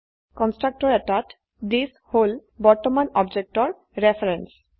constructor এটাত thisহল বৰ্তমান অবজেক্টেৰ ৰেফাৰেন্স